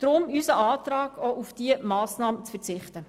Deshalb unser Antrag, auch auf diese Massnahme zu verzichten.